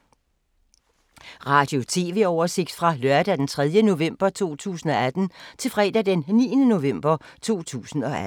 Radio/TV oversigt fra lørdag d. 3. november 2018 til fredag d. 9. november 2018